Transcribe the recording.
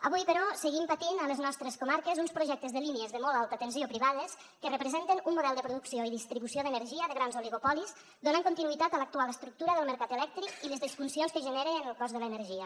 avui però seguim patint a les nostres comarques uns projectes de línies de molt alta tensió privades que representen un model de producció i distribució d’energia de grans oligopolis donant continuïtat a l’actual estructura del mercat elèctric i les disfuncions que genera en el cost de l’energia